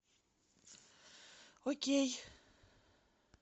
окей